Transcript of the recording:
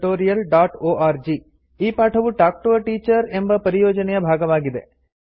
contactspoken tutorialorg ಈ ಪಾಠವು talk to a teacher ಎಂಬ ಪರಿಯೋಜನೆಯ ಭಾಗವಾಗಿದೆ